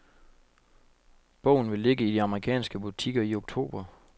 Bogen vil ligge i de amerikanske butikker i oktober.